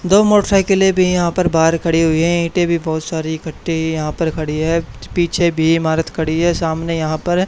दो मोटरसाईकिले भी यहां पर बाहर खड़ी हुई हैं ईंटे भी बहुत सारी इकट्ठी यहां पर खड़ी है पीछे भी ईमारत खड़ी है सामने यहां पर--